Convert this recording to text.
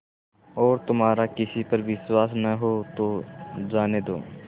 और तुम्हारा किसी पर विश्वास न हो तो जाने दो